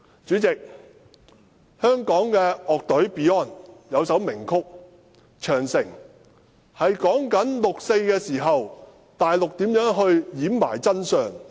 主席，香港的樂隊 Beyond 有一首名曲"長城"，是說六四事件內地政府如何掩飾真相。